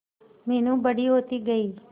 मीनू बड़ी होती गई